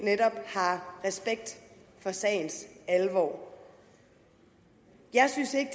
har respekt for sagens alvor jeg synes ikke